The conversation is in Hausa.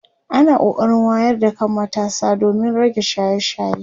ana kokarin wayar da kan matasa domin rage shaye shaye